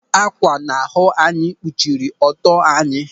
Ákwà na-ahụ na anyị kpuchiri ọtọ anyị.